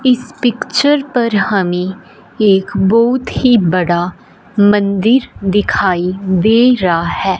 इस पिक्चर पर हमें एक बहोत ही बड़ा मंदिर दिखाई दे रा है।